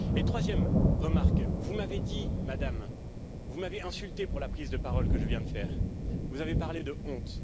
Et troisième remarque vous m'avez dit, Madame, vous m'avez insulté pour la prise de parole que je viens de faire, vous avez parlé de honte.